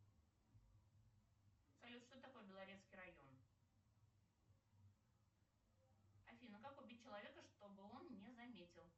салют что такое белорецкий район афина как убить человека чтобы он не заметил